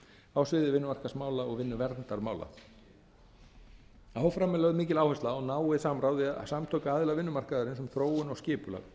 á sviði vinnumarkaðsmála og vinnuverndarmála áfram er lögð mikil áhersla á náið samráð við samtök aðila vinnumarkaðarins um þróun og skipulag